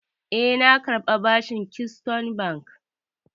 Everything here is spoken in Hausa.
E, na karbi bashin Keystone Bank.